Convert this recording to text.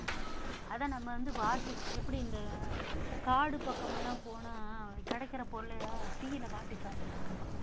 அதை நம்ம வந்து வாட்டி எப்படி இந்த காடு பக்கமெல்லாம் போனா கிடைக்கிற பொருளை தீயில வாட்டி சாப்பிடுவாங்க